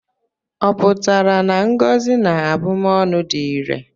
Ọ pụtara na ngọzi na abụmọnụ dị irè?